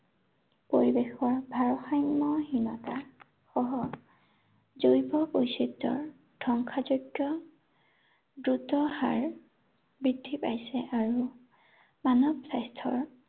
পৰিৱেশৰ ভাৰসাম্য়হীনতা, সহ, জৈৱ বৈচিত্ৰৰ ধ্বংসাযজ্ঞ দ্ৰুত হাৰ, বৃদ্ধি পাইছে আৰু, মানৱ স্বাস্থ্য়ৰ